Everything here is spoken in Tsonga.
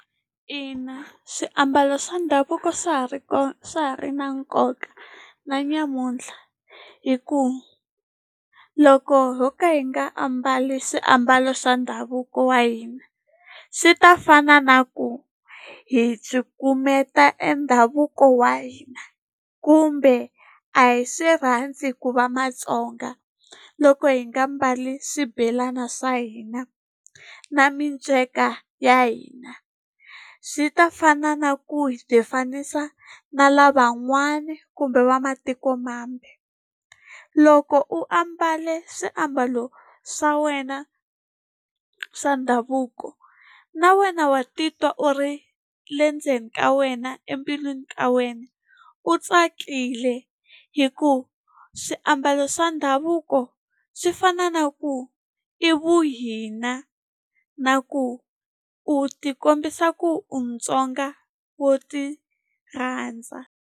Ina swiambalo swa ndhavuko swa ha ri kona swa ha ri na nkoka na namuntlha hi ku loko yo ka hi nga ambali swiambalo swa ndhavuko wa hina sei ta fana na ku hi cukumeta e ndhavuko wa hina kumbe a hi swi rhandzi ku va Matsonga. Loko hi nga mbali swibelani swa hina na minceka ya hina swi ta fana na ku hi tifanisa na lavan'wana kumbe vamatikomambe. Loko u ambale swiambalo swa wena swa ndhavuko na wena wa titwa u ri le ndzeni ka wena embilwini ka wena u tsakile hi ku swiambalo swa ndhavuko swi fana na ku i vuhina na ku u tikombisa ku u Mutsonga wo tirhandza.